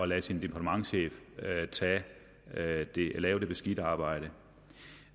lader sin departementschef lave det lave det beskidte arbejde